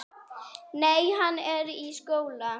Nei, hann er í skóla.